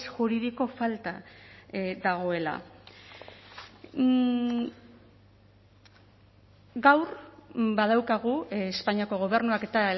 juridiko falta dagoela gaur badaukagu espainiako gobernuak eta